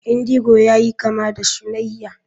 Indigo yayi kama da shunayya.